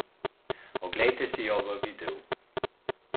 Oglejte si jo v videu!